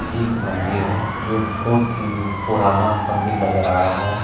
यह एक मंदिर है जो बहुत ही पुराना मंदिर नजर आ रहा है।